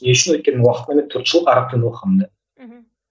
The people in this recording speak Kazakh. не үшін өйткені мен төрт жыл араб тілін оқығамын да мхм